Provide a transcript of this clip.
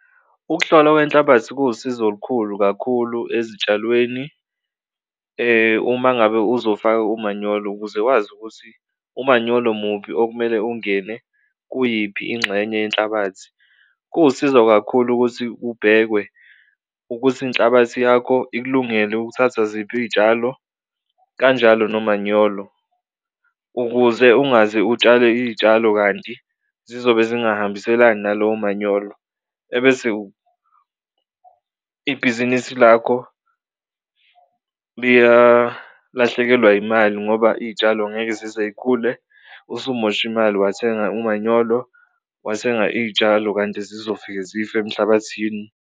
Ukuhlolwa kwenhlabathi kuwusizo olukhulu kakhulu ezitshalweni uma ngabe uzofaka umanyolo ukuze wazi ukuthi umanyolo muphi okumele ungene kuyiphi inxenye yenhlabathi. Kuwusizo kakhulu ukuthi kubhekwe ukuthi inhlabathi yakho ikulungele ukuthatha ziphi iy'tshalo kanjalo nomanyolo, ukuze ungaze utshale iy'tshalo kanti zizobe zingahambiselani nalowo manyolo ebese ibhizinisi lakho liyalahlekelwa imali ngoba iy'tshalo ngeke zize y'khule. Usumoshe imali wathenga umanyolo, wathenga iy'tshalo kanti zizofika zife emhlabathini.